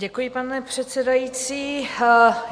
Děkuji, pane předsedající.